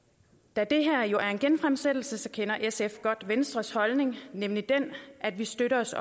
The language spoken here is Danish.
da det her er jo er en genfremsættelse kender sf godt venstres holdning nemlig at vi støtter os